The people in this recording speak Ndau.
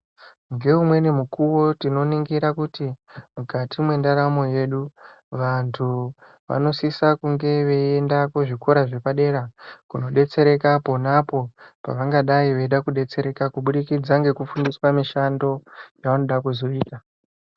Ngeumweni mukuwo tinoningira kuti mukati mwendaramo yedu antu vanosise kunge veienda kuzvikora zvepadera kundodetsereka pona apo pavangada kudetsereka kubudikidza ngekufundiswa mishando yavanoda kuzoita.